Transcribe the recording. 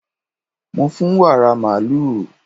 Mo fún wàrà màlúù.